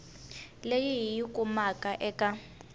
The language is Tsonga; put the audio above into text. leyi hi yi kumaka eka